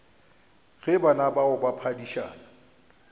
ge bana bao ba phedišana